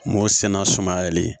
M'o sɛnɛ suma yɛlɛli